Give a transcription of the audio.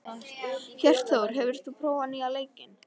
Hjörtþór, hefur þú prófað nýja leikinn?